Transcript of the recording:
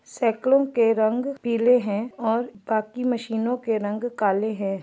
सेकड़ों के रंग पीले हैऔर बाकी मशीनो के रंग काले है।